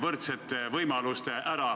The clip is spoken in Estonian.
Austatud eesistuja!